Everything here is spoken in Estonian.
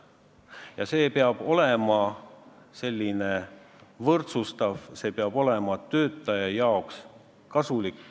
Ja see peab olema selline võrdsustav, see peab olema töötaja jaoks kasulik.